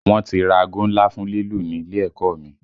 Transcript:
Wọ́n ti ra aago ńlá fún lílù ní ilé ẹ̀kọ́ ọ mi